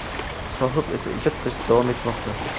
Sohib esa ijod qilishda davom etmoqda.